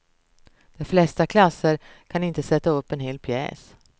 De flesta klasser kan inte sätta upp en hel pjäs.